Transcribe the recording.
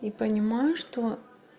и понимаю что